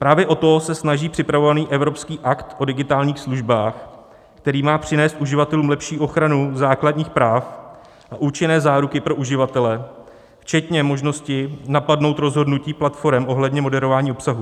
Právě o to se snaží připravovaný evropský Akt o digitálních službách, který má přinést uživatelům lepší ochranu základních práv a účinné záruky pro uživatele včetně možnosti napadnout rozhodnutí platforem ohledně moderování obsahu.